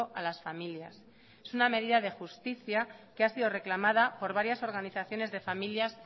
a las familias es una medida de justicia que ha sido reclamada por varias organizaciones de familias